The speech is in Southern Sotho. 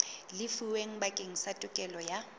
lefuweng bakeng sa tokelo ya